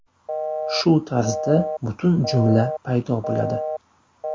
Shu tarzda butun jumla paydo bo‘ladi.